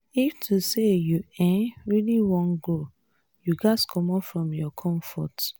if to say you um really want grow you ghas commot from your comfort.